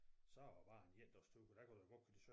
Så var det bare en endagstur for der kan du godt køre til sø